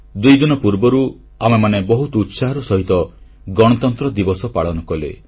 ଦୁଇଦିନ ପୂର୍ବରୁ ଆମେମାନେ ବହୁତ ଉତ୍ସାହର ସହିତ ଗଣତନ୍ତ୍ର ଦିବସ ପାଳନ କଲେ